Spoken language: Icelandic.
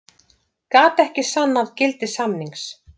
Gat ekki sannað gildi samnings